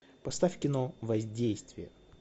поставь кино воздействие